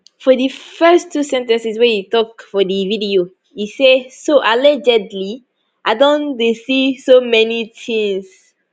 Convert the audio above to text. for di first two sen ten ces wey e tok for di video e say so allegedly i don dey see so many tins